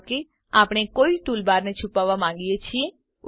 ધારો કે આપણે કોઈ ટૂલબારને છુપાવવા માંગીએ છીએ